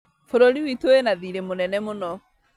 Bũrũri witũ wĩna thirĩ mũnene mũno